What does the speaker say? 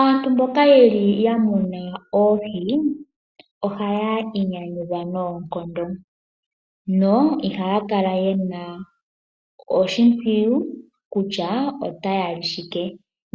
Aantu mboka yeli ya muna oohi ohaya inyanyudha nonkondo yo ihaya kala ye na oshimpwiyu kutya otaya li shike,